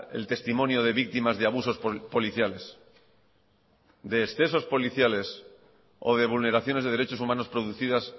el testimonio de víctimas de abusos policiales de excesos policiales o de vulneraciones de derechos humanos producidas